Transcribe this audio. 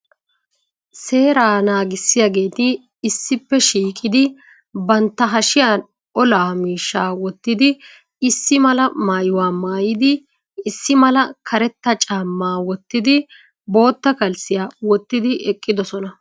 Seeraa naagissiyaageeti issippe shiiqqidi bantta hashiyan olaa miishshaa wottidi issi mala maayuwa maayidi issi mala karetta caamma wottidi bootta kalssiya wottidi eqqidosona.